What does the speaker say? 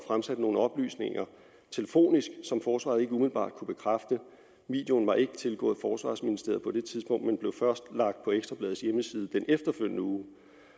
fremsat nogle oplysninger telefonisk som forsvaret ikke umiddelbart kunne bekræfte videoen var ikke tilgået forsvarsministeriet på det tidspunkt men blev først lagt på ekstra bladets hjemmeside den efterfølgende uge